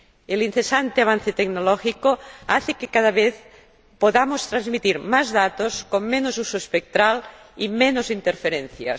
El incesante avance tecnológico hace que cada vez podamos transmitir más datos con menos uso espectral y menos interferencias.